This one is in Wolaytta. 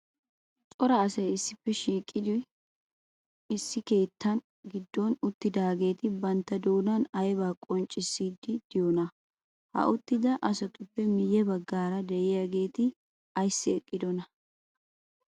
Coray asay issippe shiiqqidi issi keettaa giddon uttidaageeti bantta doonaan aybaa qachchiddonaa? Ha uttidaa asatuppe miye baggaara de'iyageeti ayssi eqqidonaa?